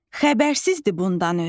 Xəbərsizdir bundan özü.